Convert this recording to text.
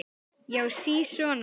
Já, sisona!